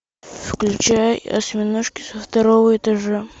включай осьминожки со второго этажа